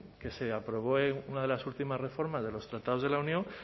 que se aprobó en una de las últimas reformas de los tratados de la unión